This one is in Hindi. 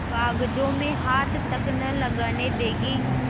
कागजों में हाथ तक न लगाने देगी